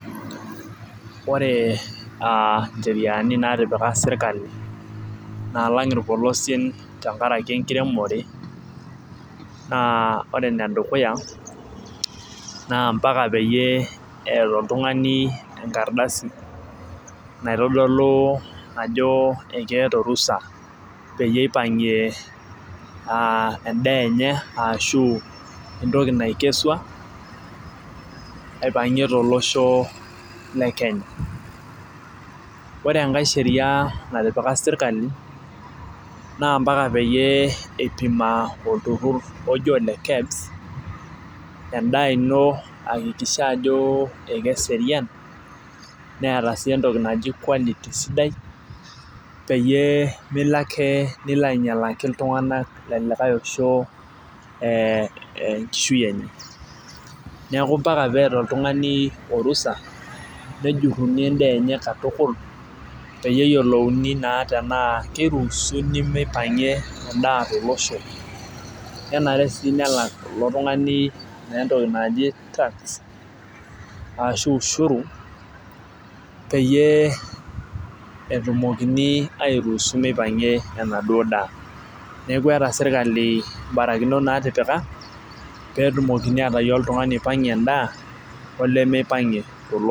Ore aa ncheriani naatipik sirkali, naalang irpolosien tenkaraki enkiremore, naa ore ene dukuya naa mpaka peyie eeta oltungani enkardasi, naitodolu ajo ekeeta orusa, peyie eipangie edaa enye, ashu, entoki naikesua, aipangie tolosho le kenya. ore enkae Sheria natipika sirkali naa mpaka peyie eipima olturur oji ole kebs edaa ino ayakikisha ajo ekeserian. neeta sii entoki naji quality ,sidai. peyie Milo ake. nilo aingialaki iltunganak lelikae Osho enkishui enye. neeku mpaka peeta oltungani orusa, nejuruni edaa enye katukul. peyie eyiolouni naa tenaa kiruusuni meipangie edaa tolosho. nenare sii nelak ilp tungani naa entoki naji task ashu, ushuru. peyie etumokini airuusu meipangie ena duoo daa. neeku eeta sirkali ibarakinot natipika pee etumoki aitayio iltungani oipangie edaa olemeipangie tolosho.